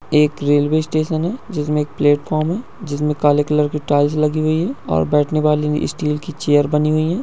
एक railway station है जिसमे एक प्लेटफार्म है जिसमे काले कलर की टाइल्स लगी हुई है और बैठन वाली स्टील की चेयर बनी हुई है।